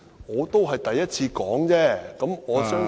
我只是第一次說，我相信......